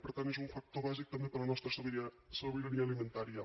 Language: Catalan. per tant és un factor bàsic també per a la nostra sobirania alimentària